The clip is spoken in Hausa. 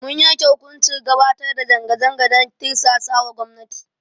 Mun yanke hukuncin gabatar da zanga zanga dan tirsasawa gwamnati.